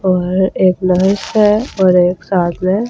और एक महेश है एक और साथ मैं--